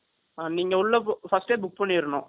அ, நீங்க உள்ள, first ஏ book பண்ணிறணும்.